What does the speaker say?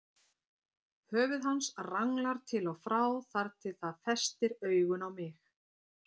Höfuð hans ranglar til og frá þar til það festir augun á mig.